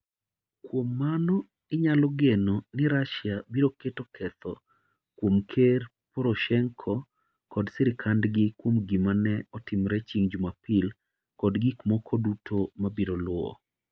Kuom mano, inyalo geno ni Russia biro keto ketho kuom Ker Poroshenko kod sirkandgi kuom gima ne otimore chieng' Jumapil kod gik moko duto mabiro luwo.